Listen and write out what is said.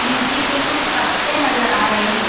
लीची के कुछ पत्ते नजर आ रहे हैं।